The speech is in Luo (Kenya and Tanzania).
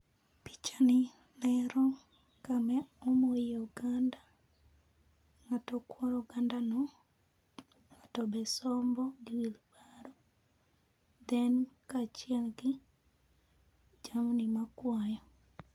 Pichani ero kama omoye oganda, ngato kuoro ogand anoo tobe sombo gi wheelbarrow then kachiel gi jamni makwayo